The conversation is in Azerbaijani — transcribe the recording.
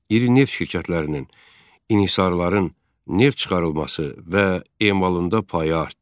İri neft şirkətlərinin, inhisarların neft çıxarılması və emalında payı artdı.